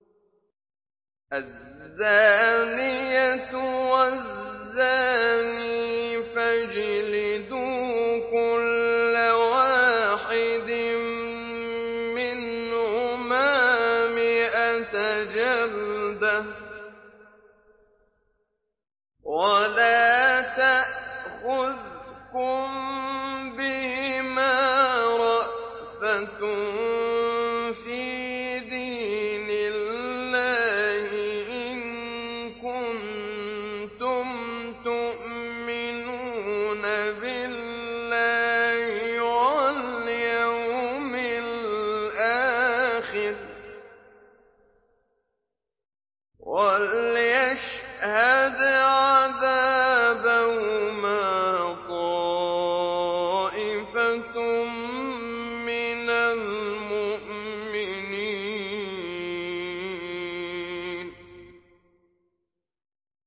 الزَّانِيَةُ وَالزَّانِي فَاجْلِدُوا كُلَّ وَاحِدٍ مِّنْهُمَا مِائَةَ جَلْدَةٍ ۖ وَلَا تَأْخُذْكُم بِهِمَا رَأْفَةٌ فِي دِينِ اللَّهِ إِن كُنتُمْ تُؤْمِنُونَ بِاللَّهِ وَالْيَوْمِ الْآخِرِ ۖ وَلْيَشْهَدْ عَذَابَهُمَا طَائِفَةٌ مِّنَ الْمُؤْمِنِينَ